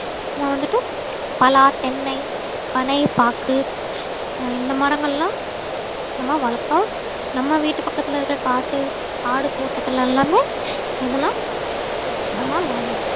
நம்ம வந்துட்டு பலா தென்னை பனை பாக்கு ஹம் இந்த மரங்கள் எல்லாம் நம்ம வளர்த்தோம் நம்ம வீட்டு பக்கத்துல இருக்க காட்டு ஆடு தோட்டத்துல எல்லாமே இதுல நம்ம வ~